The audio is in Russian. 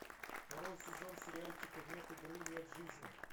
второй сезон сериальчика нет игры нет жизни